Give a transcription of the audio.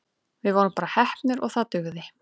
Við vorum bara heppnir og það dugði.